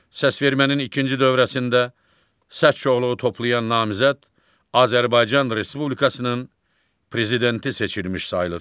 Səsvermənin ikinci dövrəsində səs çoxluğu toplayan namizəd Azərbaycan Respublikasının prezidenti seçilmiş sayılır.